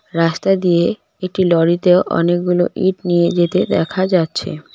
রাস্তা দিয়ে একটি লরিতেও অনেকগুলো ইঁট নিয়ে যেতে দেখা যাচ্ছে।